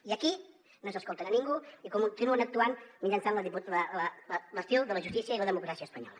i aquí no s’escolten a ningú i continuen actuant mitjançant l’estil de la justícia i la democràcia espanyola